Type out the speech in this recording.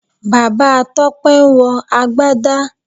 Bàbá Tọ́pẹ́ ń wọ Agbádá